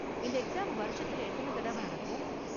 இந்த எக்ஸாம் வருஷத்துல எத்தன தடவ நடக்கும்?